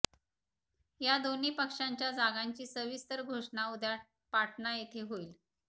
या दोन्ही पक्षांच्या जागांची सविस्तर घोषणा उद्या पाटणा येथे होईल